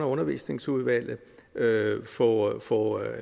undervisningsudvalget få få